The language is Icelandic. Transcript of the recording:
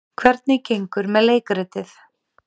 Hvernig gengur með leikritið?